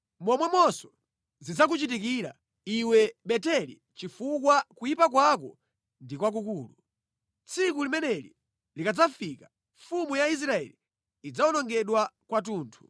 Momwemonso zidzakuchitikira, iwe Beteli chifukwa kuyipa kwako ndi kwakukulu. Tsiku limeneli likadzafika, mfumu ya Israeli idzawonongedwa kwathunthu.